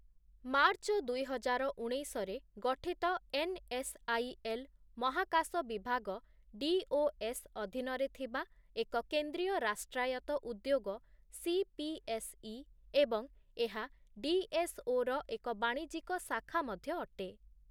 March ଦୁଇହଜାର ଉଣେଇଶରେ ଗଠିତ ଏନ୍‌‌ଏସ୍ଆଇଏଲ୍ ମହାକାଶ ବିଭାଗ ଡିଓଏସ୍ ଅଧୀନରେ ଥିବା ଏକ କେନ୍ଦ୍ରୀୟ ରାଷ୍ଟ୍ରାୟତ୍ତ ଉଦ୍ୟୋଗ ସିପିଏସ୍ଇ ଏବଂ ଏହା ଡିଏସ୍‌ଓର ଏକ ବାଣିଜ୍ୟିକ ଶାଖା ମଧ୍ୟ ଅଟେ ।